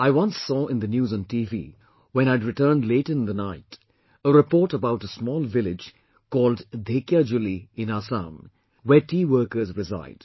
I once saw in the news on TV, when I had returned late in the night, a report about a small village called Dhekiajulli Dhekiajuli in Assam, where tea workers reside